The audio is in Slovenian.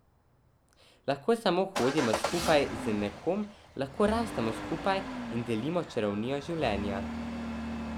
Lahko samo hodimo skupaj z nekom, lahko rastemo skupaj in delimo čarovnijo življenja.